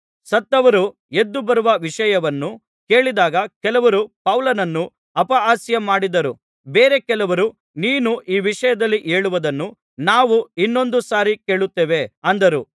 ಸತ್ತವರು ಎದ್ದುಬರುವ ವಿಷಯವನ್ನು ಕೇಳಿದಾಗ ಕೆಲವರು ಪೌಲನನ್ನು ಅಪಹಾಸ್ಯಮಾಡಿದರು ಬೇರೆ ಕೆಲವರು ನೀನು ಈ ವಿಷಯದಲ್ಲಿ ಹೇಳುವುದನ್ನು ನಾವು ಇನ್ನೊಂದು ಸಾರಿ ಕೇಳುತ್ತೇವೆ ಅಂದರು